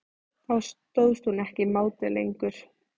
Þá stóðst hún ekki mátið lengur.